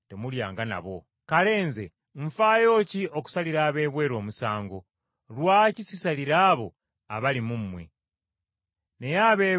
Naye ab’ebweru Katonda ye abasalira. Omubi oyo ali mu mmwe mumuggyeemu.